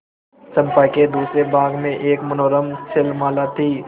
चंपा के दूसरे भाग में एक मनोरम शैलमाला थी